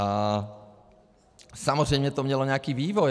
A samozřejmě to mělo nějaký vývoj.